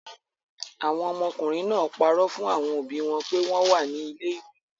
Àwọn ọmọkùnrin náà parọ́ fún àwọn òbí wọn pé wọ́n wà ní ilé-ìwé.